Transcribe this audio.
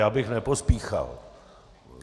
Já bych nepospíchal.